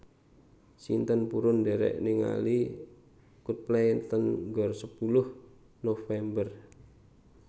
Sinten purun ndherek ningali Coldplay teng Gor Sepuluh November?